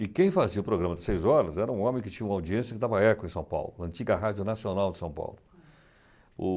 E quem fazia o programa de seis horas era um homem que tinha uma audiência que dava eco em São Paulo, antiga Rádio Nacional de São Paulo.